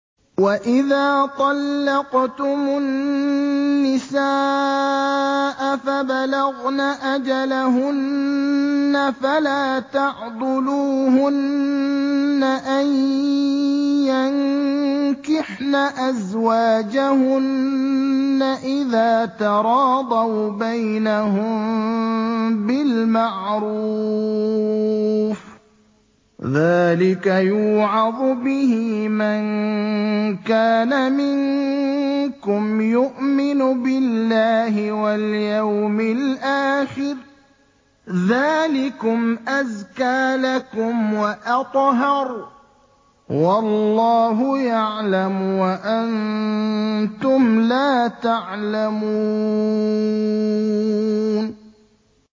وَإِذَا طَلَّقْتُمُ النِّسَاءَ فَبَلَغْنَ أَجَلَهُنَّ فَلَا تَعْضُلُوهُنَّ أَن يَنكِحْنَ أَزْوَاجَهُنَّ إِذَا تَرَاضَوْا بَيْنَهُم بِالْمَعْرُوفِ ۗ ذَٰلِكَ يُوعَظُ بِهِ مَن كَانَ مِنكُمْ يُؤْمِنُ بِاللَّهِ وَالْيَوْمِ الْآخِرِ ۗ ذَٰلِكُمْ أَزْكَىٰ لَكُمْ وَأَطْهَرُ ۗ وَاللَّهُ يَعْلَمُ وَأَنتُمْ لَا تَعْلَمُونَ